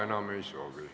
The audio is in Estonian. Enam ei soovi.